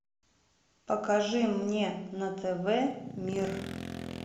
покажи мне на тв мир